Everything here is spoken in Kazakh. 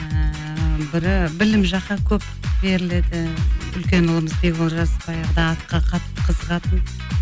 ііі бірі білім жаққа көп беріледі үлкен ұлымыз беколжас баяғыда атқа қатты қызығатын